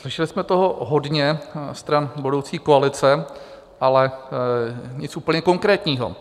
Slyšeli jsme toho hodně stran budoucí koalice, ale nic úplně konkrétního.